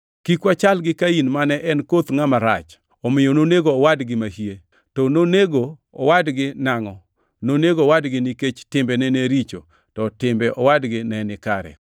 Kik wachal gi Kain mane en koth ngʼama rach, omiyo nonego owadgi mahie. To nonego owadgi nangʼo? Nonego owadgi nikech timbene ne richo, to timbe owadgi ne ni kare.